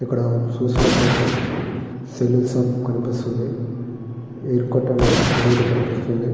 ఇక్కడ చూసినట్లయితే salon shop కనిపిస్తుంది. ఎయిర్‌కట్ అనే బోర్డు కనిపిస్తుంది.